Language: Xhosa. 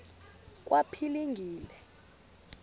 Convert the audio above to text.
kwaphilingile